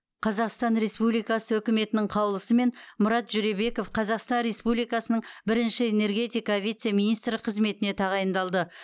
қазақстан республикасы үкіметінің қаулысымен мұрат жүребеков қазақстан республикасының бірінші энергетика вице министрі қызметіне тағайындалды